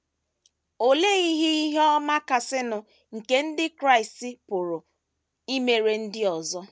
Olee ihe ihe ọma kasịnụ nke ndị Kraịst pụrụ imere ndị ọzọ?